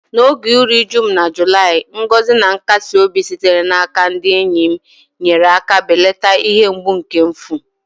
N’oge iru uju m na Julaị, ngọzi na-akasi obi sitere n’aka ndị enyi m nyere aka belata ihe mgbu nke mfu.